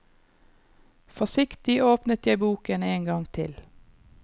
Forsiktig åpnet jeg boken en gang til.